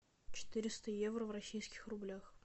четыреста евро в российских рублях